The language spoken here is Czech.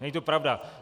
Není to pravda.